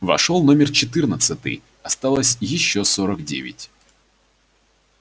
вошёл номер четырнадцатый осталось ещё сорок девять